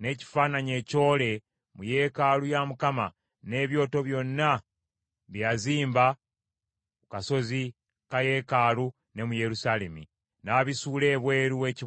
n’ekifaananyi ekyole mu yeekaalu ya Mukama , n’ebyoto byonna bye yazimba ku kasozi ka yeekaalu ne mu Yerusaalemi, n’abisuula ebweru w’ekibuga.